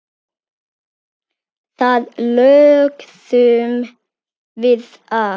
Þar lögðum við að.